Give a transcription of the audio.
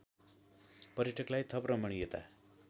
पर्यटकलाई थप रमणीयता